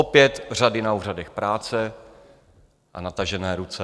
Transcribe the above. Opět řady na úřadech práce a natažené ruce.